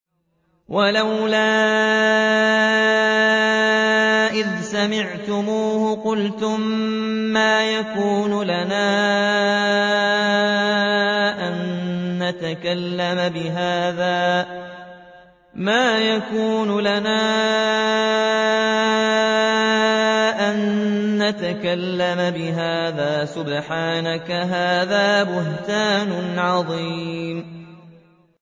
وَلَوْلَا إِذْ سَمِعْتُمُوهُ قُلْتُم مَّا يَكُونُ لَنَا أَن نَّتَكَلَّمَ بِهَٰذَا سُبْحَانَكَ هَٰذَا بُهْتَانٌ عَظِيمٌ